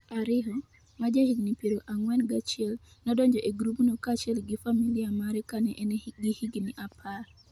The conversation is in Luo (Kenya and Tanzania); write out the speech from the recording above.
Ariho, ma ja higni piero ang'wen gachiel, nodonjo e grupno kaachiel gi familia mare kane en gi higni apar.